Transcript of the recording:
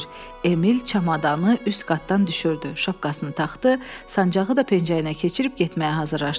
Emil çamadanı üst qatdan düşürdü, şapkasını taxdı, sancaqı da pəncərəyə keçirib getməyə hazırlaşdı.